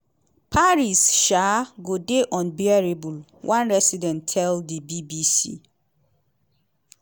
paris um go dey unbearable" one resident tell di bbc.